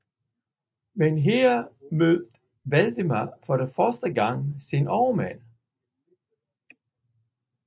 Men her mødte Valdemar for første gang sine overmænd